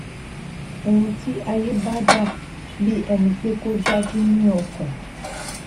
óun tí ayé bá dà bí ẹni pé kò dájú ní ọkàn